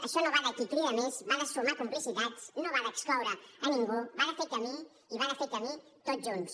això no va de qui crida més va de sumar complicitats no va d’excloure a ningú va de fer camí i va de fer camí tots junts